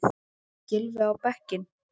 Gylfi á bekkinn?